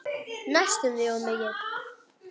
Næstum því of mikill.